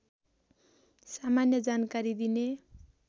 सामान्य जानकारी दिने